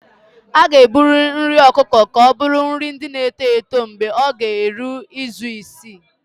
A ga-ebuli nri ọkụkọ ka ọ bụrụ nri ndị na-eto eto mgbe ọ ga-eru izu isii